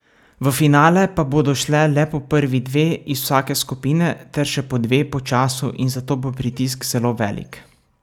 V finale pa bodo šle le po prvi dve iz vsake skupine ter še po dve po času in zato bo pritisk zelo velik.